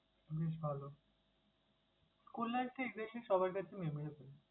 বেশ ভালো! school life টা exactly সবার কাছে maybe এরকম।